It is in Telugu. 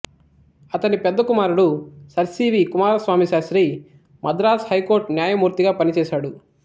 అతని పెద్ద కుమారుడు sir C V Kumaraswamy Sastri Madras high court న్యాయమూర్తిగా పనిచేశాడు